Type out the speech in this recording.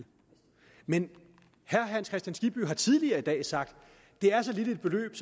men herre hans kristian skibby har tidligere i dag sagt at det er så lille et beløb